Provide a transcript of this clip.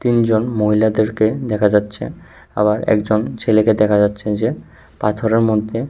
তিনজন মহিলাদেরকে দেখা যাচ্ছে আবার একজন ছেলেকে দেখা যাচ্ছে যে পাথরের মধ্যে--